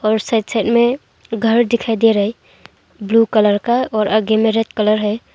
और side side में घर दिखाई दे रहा ब्लू कलर का और आगे में रेड कलर है।